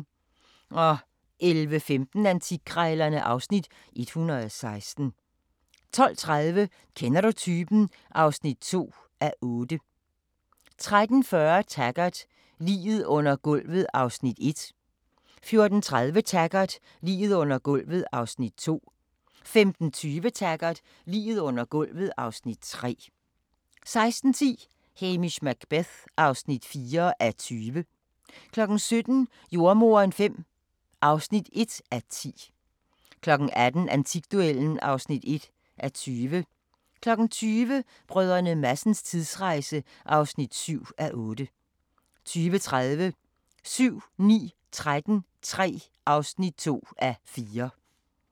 11:15: Antikkrejlerne (Afs. 116) 12:30: Kender du typen? (2:8) 13:40: Taggart: Liget under gulvet (Afs. 1) 14:30: Taggart: Liget under gulvet (Afs. 2) 15:20: Taggart: Liget under gulvet (Afs. 3) 16:10: Hamish Macbeth (4:20) 17:00: Jordemoderen V (1:10) 18:00: Antikduellen (1:20) 20:00: Brdr. Madsens tidsrejse (7:8) 20:30: 7-9-13 III (2:4)